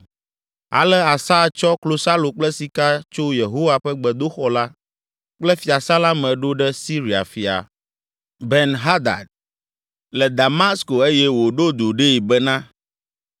Ale Asa tsɔ klosalo kple sika tso Yehowa ƒe gbedoxɔ la kple fiasã la me ɖo ɖe Siria fia, Ben Hadad, le Damasko eye wòɖo du ɖee bena,